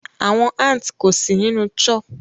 Awọn ants ko si ninu churh